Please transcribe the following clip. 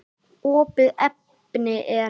Opið efni er